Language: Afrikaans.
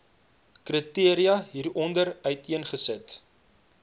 kriteria hieronder uiteengesit